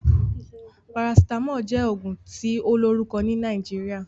Parasitamoli jẹ́ ògùn tí ó lórùkọ ni Nàìjíríà